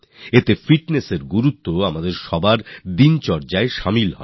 এতে ফিটনেস এর স্বভাব আমাদের সকলের দিনযাপনে রপ্ত হবে